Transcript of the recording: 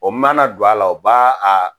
O ma na don a la o b'a